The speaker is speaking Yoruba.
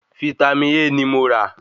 Vítámì A ní mo rà